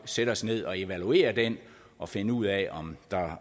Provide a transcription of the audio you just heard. sætte os ned og evaluere den og finde ud af